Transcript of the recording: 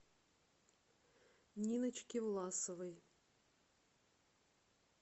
ниночке власовой